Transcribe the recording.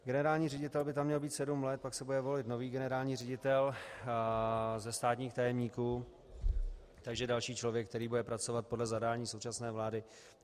Generální ředitel by tam měl být sedm let, pak se bude volit nový generální ředitel ze státních tajemníků, takže další člověk, který bude pracovat podle zadání současné vlády.